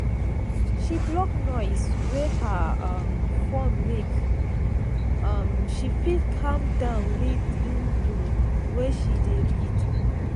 she block noise wey her um phone make um she fit calm down readin book wey she dey read.